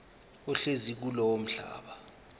ohlezi kulowo mhlaba